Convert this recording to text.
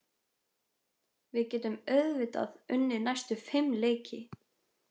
Við getum auðvitað unnið næstu fimm leiki.